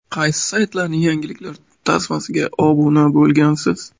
Qaysi saytlarning yangiliklar tasmasiga obuna bo‘lgansiz?